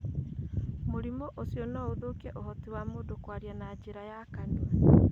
Mũrimũ ũcio no ũthũkie ũhoti wa mũndũ kwaria na njĩra ya kanua.